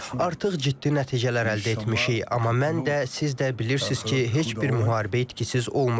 Artıq ciddi nəticələr əldə etmişik, amma mən də, siz də bilirsiniz ki, heç bir müharibə etkisiz olmur.